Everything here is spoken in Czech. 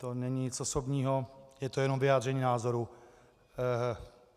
To není nic osobního, je to jenom vyjádření názoru.